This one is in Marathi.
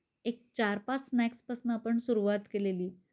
एक चार पाच स्नॅक्स पासून आपण सुरुवात केलेली.